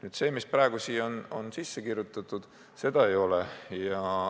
Aga see, mis praegu siia on kirjutatud, seda ei ole.